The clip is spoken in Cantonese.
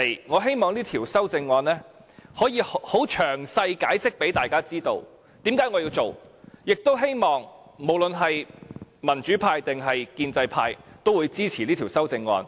我希望可以很詳細地解釋給大家知道，為何我要提出這項修正案，亦希望民主派和建制派均會支持這項修正案。